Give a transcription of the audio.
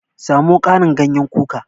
Samo Karin ganyen kuka